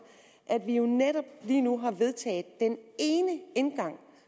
at vi jo netop lige nu har vedtaget den ene indgang